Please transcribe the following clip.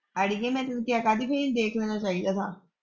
ਅੜੀਏ ਮੈਂ ਤੈਨੂੰ ਕਹਿ ਤਾਂ ਸੀ ਕਿ ਇਹਨੂੰ ਦੇਖ ਲੈਣਾ ਚਾਹੀਦਾ ਵਾ।